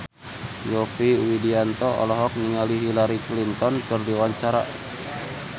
Yovie Widianto olohok ningali Hillary Clinton keur diwawancara